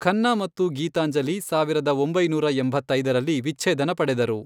ಖನ್ನಾ ಮತ್ತು ಗೀತಾಂಜಲಿ ಸಾವಿರದ ಒಂಬೈನೂರ ಎಂಬತ್ತೈದರಲ್ಲಿ ವಿಚ್ಛೇದನ ಪಡೆದರು.